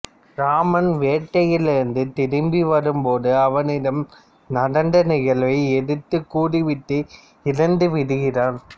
இராமன் வேட்டையில் இருந்து திரும்பி வரும்போது அவனிடம் நடந்த நிகழ்வை எடுத்துக் கூறிவிட்டு இறந்து விடுகிறான்